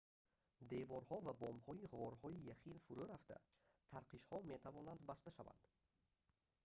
деворҳо ва бомҳои ғорҳои яхин фурӯ рафта тарқишҳо метавонанд баста шаванд